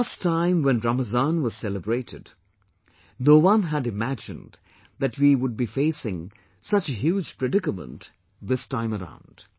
The last time when Ramazan was celebrated, no one had imagined that we would be facing such a huge predicament this time around